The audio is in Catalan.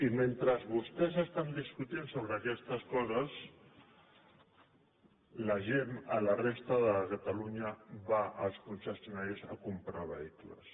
i mentre vostès discuteixen sobre aquestes coses la gent a la resta de catalunya va als concessio·naris a comprar vehicles